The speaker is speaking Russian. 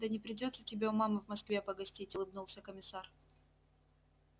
да не придётся тебе у мамы в москве погостить улыбнулся комиссар